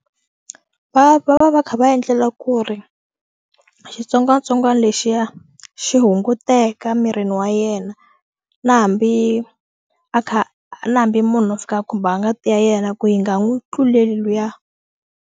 Va va va kha va endlela ku ri xitsongwatsongwana lexiya xi hunguteka mirini wa yena na hambi a kha a na hambi munhu a fika khumba ngati ya yena ku yi nga n'wi tluleli luya.